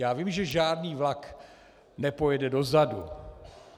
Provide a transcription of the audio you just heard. Já vím, že žádný vlak nepojede dozadu.